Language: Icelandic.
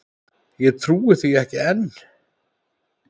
Ég trúi því ekki enn.